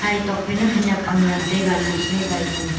e tok phai na khanik ham ngan taiga luphaika.